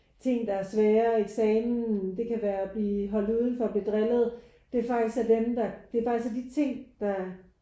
Ting der er svære eksamen det kan være at blive holdt udenfor blive drillet det er faktisk er dem der det er faktisk de ting der